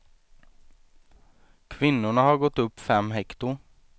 Kvinnorna har gått upp fem hekto.